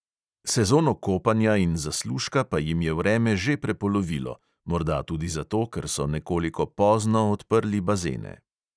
Sezono kopanja in zaslužka pa jim je vreme že prepolovilo, morda tudi zato, ker so nekoliko pozno odprli bazene